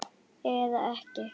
Eða ekki.